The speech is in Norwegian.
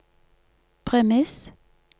premiss